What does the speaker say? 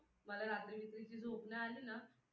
मला रात्री-बित्री ची झोप नाही आलं ना,